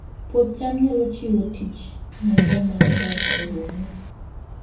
Puoth cham nyalo chiwo tich ne joma odak e gwenge